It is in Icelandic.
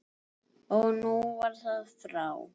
Og nú var það frá.